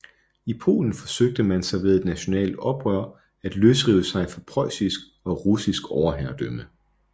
I Polen forsøgte man sig ved et nationalt oprør at løsrive sig fra preussisk og russisk overherredømme